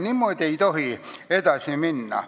Niimoodi ei tohi edasi minna.